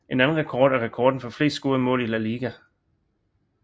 En anden rekord er rekorden for flest scorede mål i La Liga